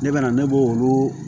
Ne bɛna ne b'o olu